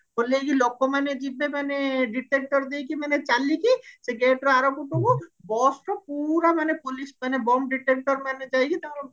ଓଲ୍ହେଇକି ଲୋକ ମାନେ ଯିବେ ମାନେ detector ଦେଇକି ମାନେ ଚାଲିକି ସେଇ gateର ଆରପଟକୁ busର ପୁରା ମାନେ police ମାନେ bum detector ମାନେ ଯାଇକି ତାଙ୍କର